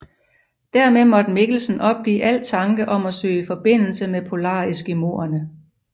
Dermed måtte Mikkelsen opgive al tanke om at søge forbindelse med polareskimoerne